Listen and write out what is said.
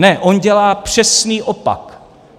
Ne, on dělá přesný opak.